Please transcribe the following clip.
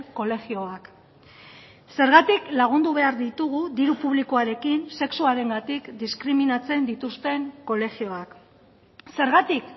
kolegioak zergatik lagundu behar ditugu diru publikoarekin sexuarengatik diskriminatzen dituzten kolegioak zergatik